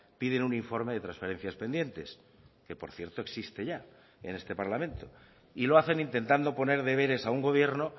piden un informe de transferencias pendientes que por cierto existe ya en este parlamento y lo hacen intentando poner deberes a un gobierno